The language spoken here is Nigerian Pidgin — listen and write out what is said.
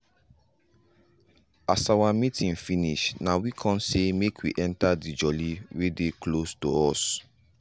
as our meeting finish nah we con say make we enter the jolly we dey close to us.